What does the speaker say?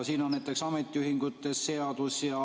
Siin on näiteks ametiühingute seadus.